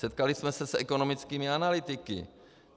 Setkali jsme se s ekonomickými analytiky.